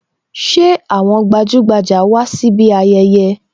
Ṣé àwọn gbajugbaja wá síbi ayẹyẹ?